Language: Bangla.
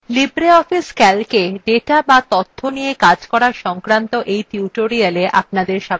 libreoffice calc –এ ডেটা বা তথ্য নিয়ে calc করা সংক্রান্ত এই tutorialএ আপনদের স্বাগত জানাচ্ছি